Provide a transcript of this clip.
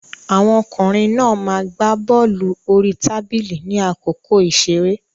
Àwọn ọkùnrin náà ma gbá bọ́lù orí tábìlì ní àkókò ìṣeré.